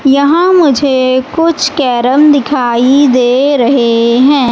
यहां मुझे कुछ कैरम दिखाई दे रहे हैं।